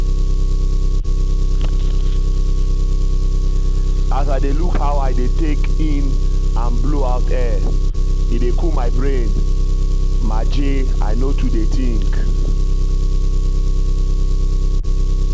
as i dey look how i dey take in and blow out air e dey cool my brain maje i no too dey think.